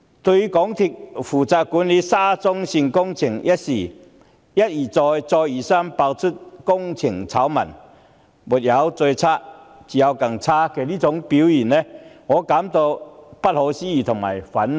對於由港鐵公司負責管理的沙中線工程一而再、再而三爆出工程醜聞，其"沒有最差、只有更差"的表現，我感到既不可思議又憤怒。